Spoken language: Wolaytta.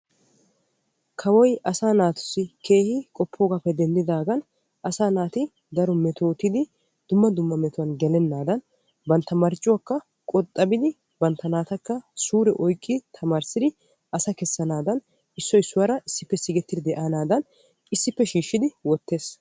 Kawoy asaa naatussi keehin qoppogappe denddidagan asaa naati daro metottidi dumma dumma metuwan gelenadan bantta marccuwakka qoxabidi bantta naattaka suure oykki tamarissidi asa kessanadan issoy issuwaara siiqettidi deandadan issippe shiishidi wottees.